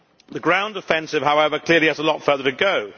The ground offensive, however, clearly has a lot further to go.